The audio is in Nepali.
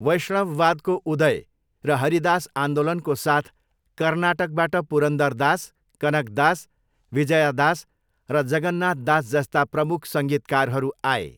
वैष्णववादको उदय र हरिदास आन्दोलनको साथ कर्नाटकबाट पुरन्दरदास, कनकदास, विजयादास र जगन्नाथदास जस्ता प्रमुख सङ्गीतकारहरू आए।